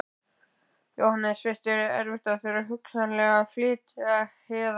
Jóhannes: Finnst þér erfitt að þurfa hugsanlega að flytjast héðan?